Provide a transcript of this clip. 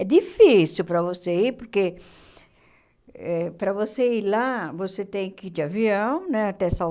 É difícil para você ir, porque eh para você ir lá, você tem que ir de avião né até